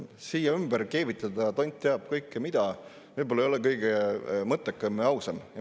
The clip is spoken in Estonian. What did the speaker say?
Siia ümber keevitada tont teab mida kõike – võib-olla see ei ole kõige mõttekam ja ausam.